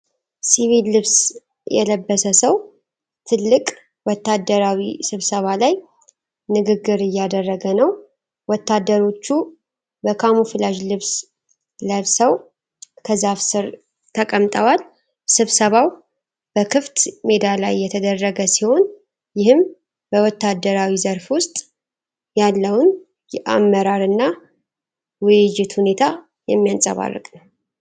ሲቪል ልብስ የለበሰ ሰው ትልቅ ወታደራዊ ስብሰባ ላይ ንግግር እያደረገ ነው። ወታደሮቹ በካሙፍላጅ ልብስ ለብሰው ከዛፍ ስር ተቀምጠዋል። ስብሰባው በክፍት ሜዳ ላይ የተደረገ ሲሆን፣ ይህም በወታደራዊው ዘርፍ ውስጥ ያለውን የአመራርና ውይይት ሁኔታ የሚያንፀባርቅ ነው።